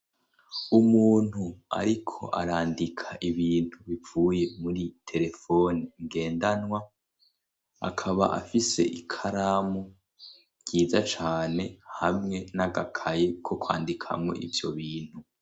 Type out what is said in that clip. umuntu ariko arandika ibintu bipfuye muri terefoni ngendanwa akaba afise ikaramu ryiza cane hamwe n'agakaye ko kwandikamwo ivyobintu